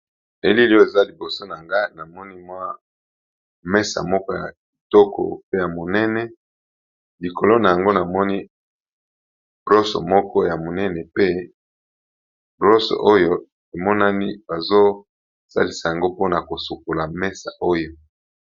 Elili oyo eza liboso na nga na moni mwa mesa moko ya etoko pe ya monene likolo na yango namoni rosse moko ya monene pe rosse oyo emonani bazosalisa yango mpona kosokola mesa oyo.